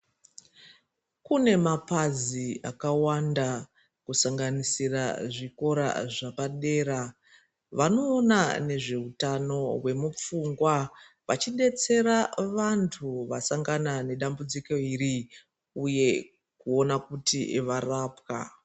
Kune mapazi akawanda kusanganisira zvikora zvapadera vanoona nezveutano zvemupfungwa vachidetsera vantu vasangana nedambudziko iri uye veiona kuti varapwa.